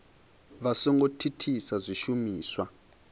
vha so ngo thithisa zwishumiswa